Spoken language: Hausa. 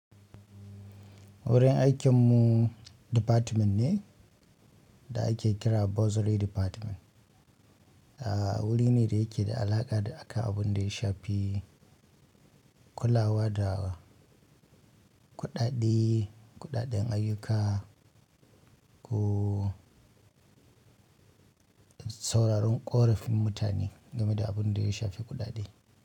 Wurin aikin mu department ne da ake kira bursery department a wurine da yake da alaƙa da, akan abinda ya shafi kulawa da kudade kudaden ayyuka ko. Sauraron ƙorafin mutane game da abin da ya shafi kuɗaɗe.